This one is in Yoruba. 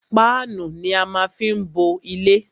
Páánù ni á má fí ń bo ilé.